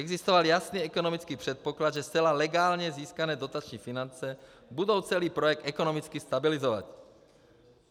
Existoval jasný ekonomický předpoklad, že zcela legálně získané dotační finance budou celý projekt ekonomicky stabilizovat.